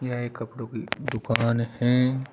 यह एक कपड़ों की दुकान है।